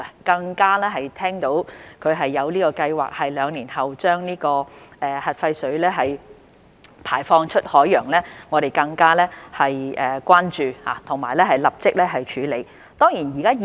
當知悉日方有計劃在兩年後將核廢水排放出海洋後，我們更為關注，並已立即着手處理。